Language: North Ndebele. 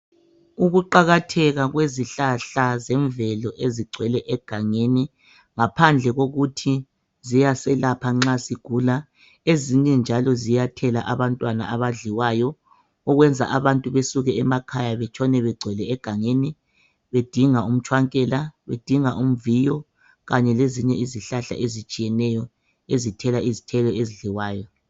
Ukuqatheka kwezihlahla zemvelo ezigcwele egangeni ngaphandle kokuthi ziyaselapha nxa sigula ezinye njalo ziyathela abantwana abadliwayo okwenza abantu besuke emakhaya betshone begcwele egangeni bedinga umtshwankela, bedinga umviyo kanye lezinye izihlahla ezitshiyeneyo ezithela izithelo ezidliwayo.